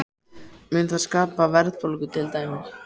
Mun það skapa verðbólgu til dæmis?